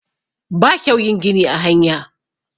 ba kyau yin gini a hanya